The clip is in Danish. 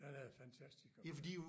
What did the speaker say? Den er fantastisk at køre i